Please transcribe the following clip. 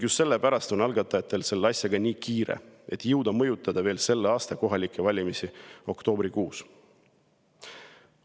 Just sellepärast on algatajatel selle asjaga nii kiire, et jõuda mõjutada veel selle aasta kohalikke valimisi oktoobrikuus.